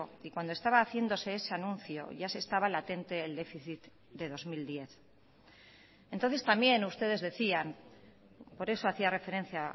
y cuando estaba haciéndose ese anuncio ya se estaba latente el déficit de dos mil diez entonces también ustedes decían por eso hacía referencia